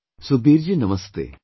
Sukhbir ji Namaste